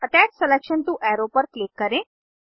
attach selection to arrow पर click करें